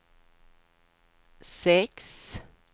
sex